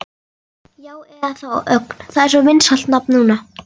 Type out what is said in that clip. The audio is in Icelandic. Já, eða þá Ögn, það er svo vinsælt nafn núna.